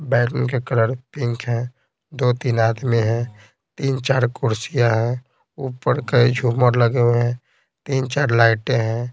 बैलन के colour pink है दो-तीन आदमी हैं तीन-चार कुर्सियां हैं ऊपर कई झूमर लगे हुए हैं तीन- चार लाइटें हैं।